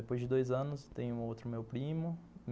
Depois de dois anos, tem outro meu primo.